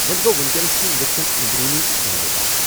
وونۍ گوٚو وُنکینس چھِ انجیکشن اندرونی استعمال باپتھ۔